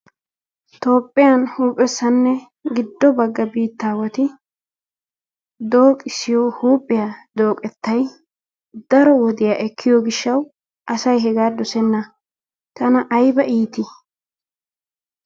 Tophphiyaan huuphphessanne giddo bagga bittawatti dooqissiyo huuphphiyaa dooqettay daro wodiyaa ekkiyo gishshawu asay hegga dosenna tanna ayibba iitti?